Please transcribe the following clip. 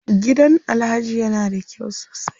Gidan Alhaji ya na da kyau sosai.